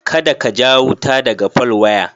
Kada ka ja wuta daga folwaya.